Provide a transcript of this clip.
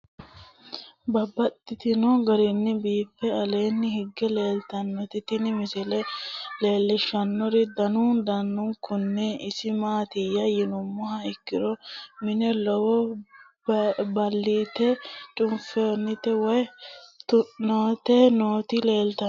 Babaxxittinno garinni biiffe aleenni hige leelittannotti tinni misile lelishshanori danu danunkunni isi maattiya yinummoha ikkiro mine lowo baalide cuffante woy tuante nootti leelittanno.